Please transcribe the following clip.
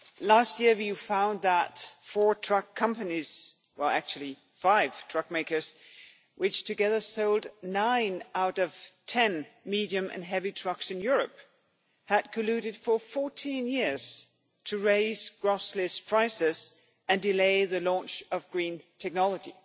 Last year we found that four truck companies, well actually five truck makers, which together sold nine out of every ten medium and heavy trucks in Europe, had colluded for 14 years to raise gross list prices and delay the launch of green technology.